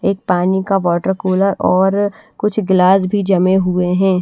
एक पानी का वाटर कूलर और कुछ गिलास भी जमे हुए हैं।